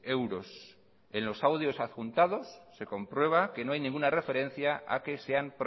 euros en los audios adjuntados se comprueba que no hay ninguna referencia a que sean